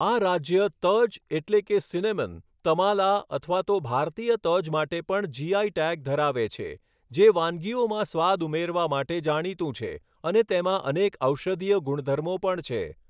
આ રાજ્ય તજ એટલે કે સિનેમન તમાલા અથવા તો ભારતીય તજ માટે પણ જીઆઈ ટેગ ધરાવે છે, જે વાનગીઓમાં સ્વાદ ઉમેરવા માટે જાણીતું છે અને તેમાં અનેક ઔષધીય ગુણધર્મો પણ છે.